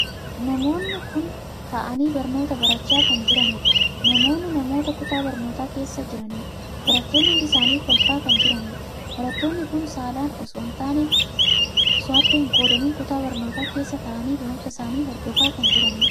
Namoonni kun taa'anii barnootaa barachaa kan jiranidha. namoonni namoota kutaa barnootaa keessa jiranidha. barattoonni hundi isaanii kolfaa kan jiraniidha. barattoonni kun saalaan osoo addaan hin qoodamin kutaa barnootaa keessa taa'anii barumsa isaanii Hordofaa kan jiranidha.